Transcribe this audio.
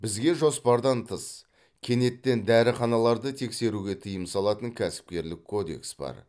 бізге жоспардан тыс кенеттен дәріханаларды тексеруге тыйым салатын кәсіпкерлік кодекс бар